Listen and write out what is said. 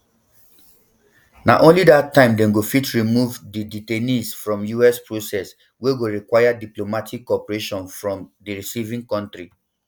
na only dat time dem go fit remove di detainees from us process wey go require diplomatic cooperation from di receiving kontri